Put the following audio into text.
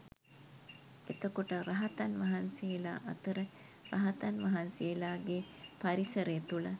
එතකොට රහතන් වහන්සේලා අතර රහතන් වහන්සේලාගේ පරිසරය තුළ